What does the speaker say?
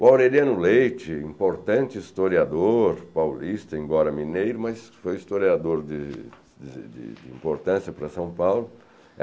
O Aureliano Leite, importante historiador paulista, embora mineiro, mas foi historiador de de de de importância para São Paulo.